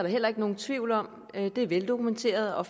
heller ikke nogen tvivl om at konsekvenser det er veldokumenteret og